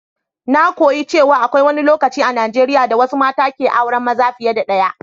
Na koyi cewa akwai wani lokaci a Najeriya da wasu mata ke auran maza fiye da ɗaya.